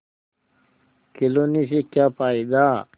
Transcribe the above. खिलौने से क्या फ़ायदा